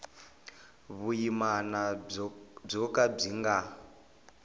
vuyimana byo ka byi nga